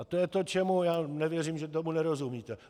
A to je to, čemu já nevěřím, že tomu nerozumíte.